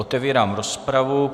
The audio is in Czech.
Otevírám rozpravu.